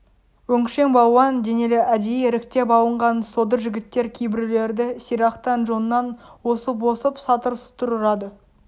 өңшең балуан денелі әдейі іріктеп алынған содыр жігіттер кейбіреулерді сирақтан жоннан осып-осып сатыр-сұтыр ұрады